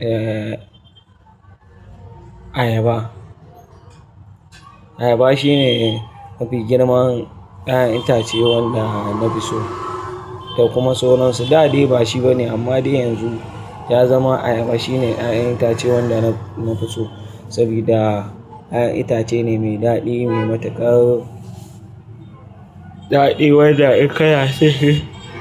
eh, ayaba. Ayaba shine mafi girman 'ya'yan itace wanda na fi so da kuma soron su. Dadai ba shi ba ne amma dai yanzu ya zama ayaba shine 'ya'yan itace wanda naf na fi so sabida 'ya'yan itace ne mai daɗi, mai matuƙar daɗi wanda in ka cin shi